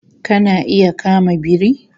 Kana iya kama biri?